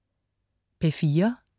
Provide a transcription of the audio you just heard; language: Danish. P4: